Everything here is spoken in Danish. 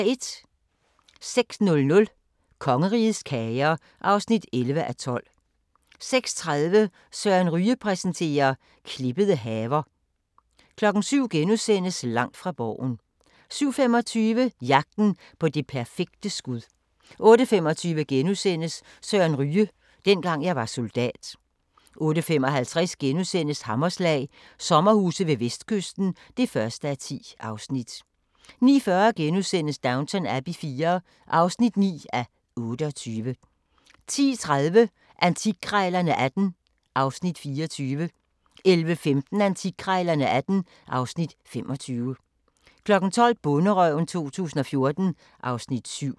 06:00: Kongerigets kager (11:12) 06:30: Søren Ryge præsenterer - klippede haver 07:00: Langt fra Borgen * 07:25: Jagten på det perfekte skud 08:25: Søren Ryge: Dengang jeg var soldat * 08:55: Hammerslag – sommerhuse ved vestkysten (1:10)* 09:40: Downton Abbey IV (9:28)* 10:30: Antikkrejlerne XVIII (Afs. 24) 11:15: Antikkrejlerne XVIII (Afs. 25) 12:00: Bonderøven 2014 (Afs. 7)